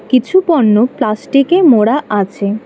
কিছু পণ্য প্লাস্টিকে মোড়া আছে।